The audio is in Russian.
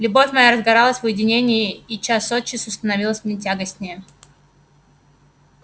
любовь моя разгоралась в уединении и час от часу становилась мне тягостнее